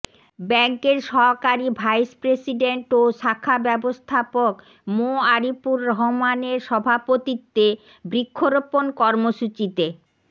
ব্যাংকের সহকারী vice president ও শাখা ব্যাবস্থাপক মো আরিপুর রহমান এর সভাপতিত্বে বৃক্সরোপন কর্মসুচীতে